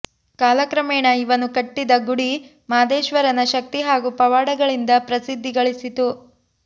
ಕಾಲ ಕ್ರಮೇಣ ಇವನು ಕಟ್ಟಿದ ಗುಡಿ ಮಾದೇಶ್ವರನ ಶಕ್ತಿ ಹಾಗು ಪವಾಡಗಳಿಂದ ಪ್ರಸಿದ್ದಿ ಗಳಿಸಿತು